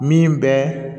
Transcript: Min bɛ